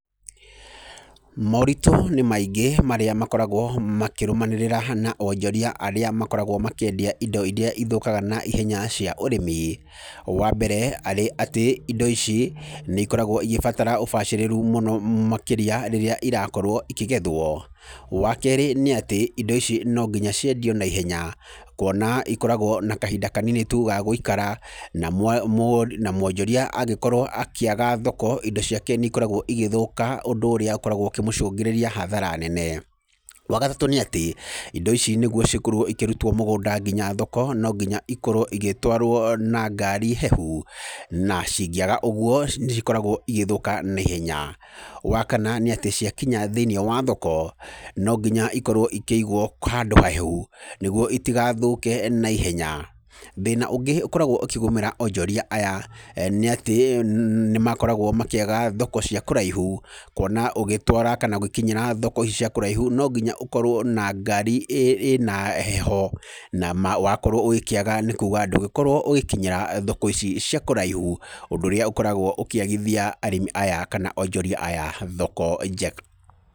Moritũ nĩ maingĩ marĩa makoragwo makĩrũmanĩrĩra na onjoria arĩa makoragwo makĩendia indo irĩa ithũkaga naihenya cia ũrĩmi. Wa mbere, arĩ atĩ indo ici, nĩ ikoragwo igĩbatara ũbacĩrĩru mũno makĩria, rĩrĩa irakorwo ikĩgethwo. Wa keerĩ, nĩ atĩ, indo ici no nginya ciendio naihenya. Kuona ikoragwo na kahinda kanini tu ga gũikara, na na mwonjoria angĩkorwo akĩaga thoko, indo ciake nĩ ikoragwo igĩthũka. Ũndũ ũrĩa ũkoragwo ũkĩmũcũngĩrĩria hathara nene. Wa gatatũ nĩ atĩ, indo ici nĩguo cikorwo ikĩrutwo mũgũnda nginya thoko, no nginya ikorwo igĩtwarwo na ngari hehu. Na cingĩaga ũguo, nĩ cikoragwo igĩthũka naihenya. Wa kana nĩ atĩ, ciakinya thĩiniĩ wa thoko, no nginya ikorwo ikĩigwo handũ hahehu, nĩguo itigathũke naihenya. Thĩna ũngĩ ũkoragwo ũkĩgomera onjoria aya nĩ atĩ nĩ makoragwo makĩaga thoko cia kũraihu, kuona ũgĩtwara kana ũgĩkinyĩra thoko cia kũraihu, no nginya ũkorwo na ngari ĩna heho, na wakorwo ũgĩkĩaga nĩ kuuga ndũgũkorwo ũgĩkinyĩra thoko ici cia kũraihu. Ũndũ ũrĩa ũkoragwo ũkĩagithia arĩmi aya kana arĩmi aya thoko njega.